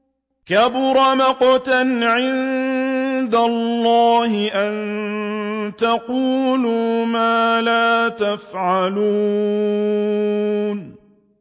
كَبُرَ مَقْتًا عِندَ اللَّهِ أَن تَقُولُوا مَا لَا تَفْعَلُونَ